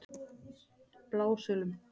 Blásölum